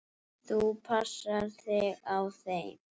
Þú passar þig á þeim.